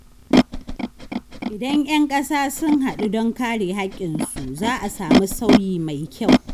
Idan ‘yan kasa sun hadu don kare haƙƙinsu, za a samu sauyi mai kyau.